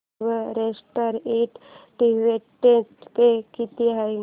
Everest and dividend pay किती आहे